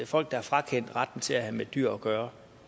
folk der er frakendt retten til at have med dyr gøre